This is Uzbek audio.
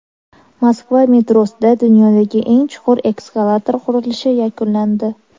Moskva metrosida dunyodagi eng chuqur eskalator qurilishi yakunlandi.